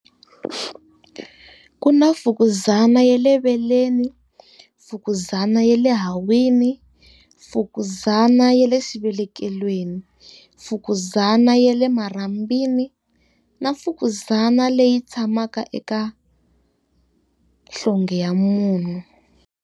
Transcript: Ku na fukuzana ya le veleni, fukuzana ya le hahwini, fukuzana ya le xivelekelweni, fukuzana ya le marhambwini na fukuzana leyi tshamaka eka nhlonge ya munhu.